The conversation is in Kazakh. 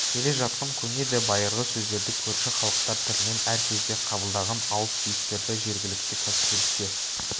келе жатқан көне де байырғы сөздерді көрші халықтар тілінен әр кезде қабылдаған ауыс-түйістерді жергілікті кәсіпшілікке